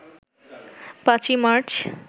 ৫ই মার্চ